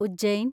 Ujjain